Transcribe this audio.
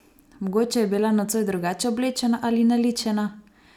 Mogoče je bila nocoj drugače oblečena ali naličena?